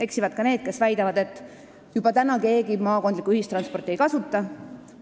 Eksivad ka need, kes väidavad, et juba nüüd keegi maakondlikku ühistransporti ei kasuta.